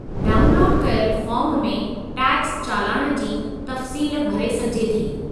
Download कयलु form में tax चालान जी तफ़सील भरे सघिजे थी।